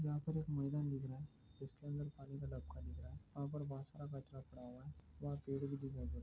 यहां पर एक मैदान दिख रहा है जिसके अंदर पानी का तालाब दिख रहा है और बहुत सारा कचरा पड़ा हुआ है वहां पेड़ भी दिखाई दे रह रहा हैं।